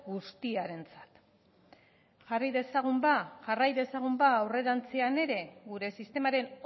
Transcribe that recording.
guztiarentzat jarrai dezagun ba aurrerantzean ere gure sistemaren